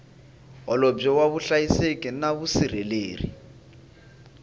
holobye wa vuhlayiseki na vusirheleri